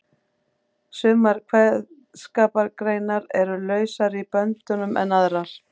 Sumar kveðskapargreinar eru lausari í böndunum en aðrar.